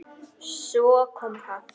Svo kom það.